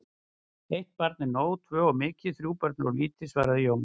Eitt barn er nóg, tvö of mikið, þrjú börn of lítið, svaraði Jón.